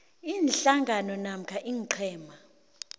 iinhlangano namkha iinqhema